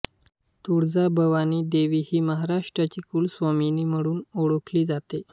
तुळजाभवानी देवी ही महाराष्ट्राची कुलस्वामिनी म्हणून ओळखली जाते